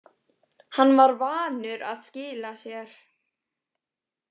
Hann var vanur að skila sér.